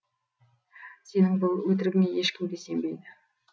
сенің бұл өтірігіңе ешкім де сенбейді